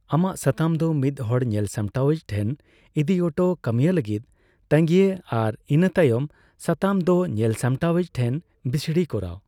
ᱟᱢᱟᱜ ᱥᱟᱛᱟᱢ ᱫᱚ ᱢᱤᱫᱦᱚᱲ ᱧᱮᱞᱥᱟᱢᱴᱟᱣᱤᱡ ᱴᱷᱮᱱ ᱤᱫᱤ ᱚᱴᱚ, ᱠᱟᱹᱢᱤᱭᱟᱹ ᱞᱟᱹᱜᱤᱫ ᱛᱟᱸᱜᱤᱭ ᱟᱨ ᱤᱱᱟᱹ ᱛᱟᱭᱚᱢ ᱥᱟᱛᱟᱢ ᱫᱚ ᱧᱮᱞᱥᱟᱢᱴᱟᱣᱤᱡ ᱴᱷᱮᱱ ᱵᱤᱥᱲᱤ ᱠᱚᱨᱟᱣ ᱾